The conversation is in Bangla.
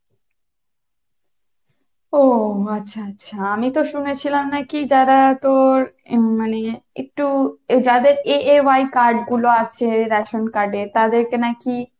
ওহ আচ্ছা আচ্ছা আমি তো শুনেছিলাম নাকি যারা তোর মানে একটু যাদের AAY card গুলা আছে রেশন card এর তাদের কে নাকি